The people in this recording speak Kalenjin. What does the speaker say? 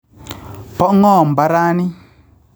Po Ng'oo mparani